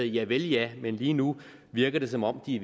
javel ja men lige nu virker det som om de